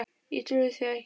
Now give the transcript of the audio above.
Ég trúi því ekki